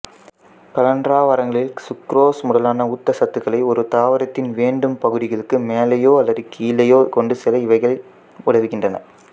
கலன்றாவரங்களில் சுக்குறோசு முதலான ஊட்டச்சத்துக்களைக் ஒரு தாவரத்தின் வேண்டும் பகுதிகளுக்கு மேலேயோ அல்லது கீழேயோ கொண்டுசெல்ல இவைகள் உதவுகின்றன